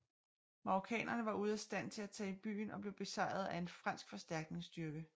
Marokkanere var ude af stand til at tage i byen og blev besejrede af en fransk forstærkningsstyrke